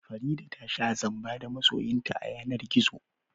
Farida ta sha zamba da masoyinta a yanar gizo